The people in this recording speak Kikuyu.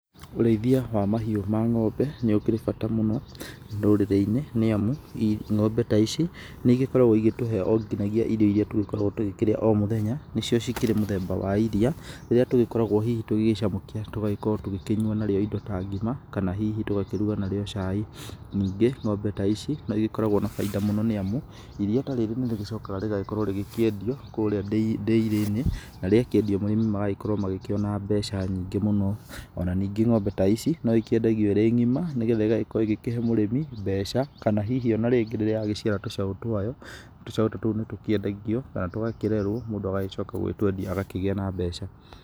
Ũrĩithia wa mahiũ ma ng'ombe nĩ ũkĩrĩ bata mũno rũrĩrĩ-inĩ nĩ amu, ng'ombe ta ici nĩ igĩkoragwo igĩtũhe onginagia irio iria tũgĩkoragwo tũgĩkĩrĩa o mũthenya nĩcio cikĩrĩ mũthemba wa iria rĩrĩa tũgĩgĩkoragwo hihi tũgĩcamũkia tũgakorwo tũgĩkĩnyua narĩo indo ta ngima kana hihi tũgakĩruga narĩo cai. Ningĩ ng'ombe ta ici no igĩkoragwo na bainda mũno nĩ amu iria ta rĩrĩ nĩ rĩgĩcokaga rĩgakĩendio kũrĩa ndĩirĩ-inĩ na rĩakĩendio arĩmi magakorwo makĩona mbeca nyingĩ mũno. Ona ningĩ ng'ombe ta ici no ikĩendagio ĩrĩ ng'ima nĩ getha ĩgagĩkorwo igĩkĩhe mũrĩmi mbeca. Kana hihi ona rĩngĩ rĩrĩa yagĩciara tũcaũ twayo tũcaũ tũtũ nĩ tũkĩendagio kana tũgakĩrerwo mũndũ agagĩcoka gũgĩtwendi agakĩgĩa na mbeca.